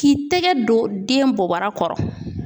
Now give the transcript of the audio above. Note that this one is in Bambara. K'i tɛgɛ don den bɔbara kɔrɔ.